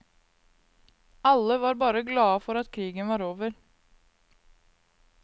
Alle var bare glade for at krigen var over.